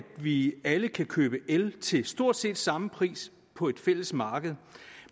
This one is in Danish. vi alle kan købe el til stort set samme pris på et fælles marked